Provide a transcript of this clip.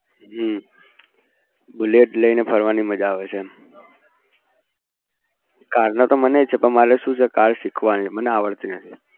જે bullet લઈને ફરવાની મજા આવે છે car નો તો મને પણ છે car શીખવાની છે મને આવડતી નથી